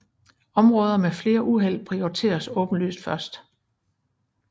Områder med flere uheld prioriteres åbenlyst først